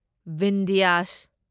Vindhyas